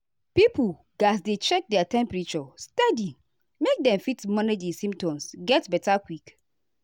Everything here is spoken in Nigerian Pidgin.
pipo gatz dey check their temperature steady make dem fit manage di symptoms get beta quick.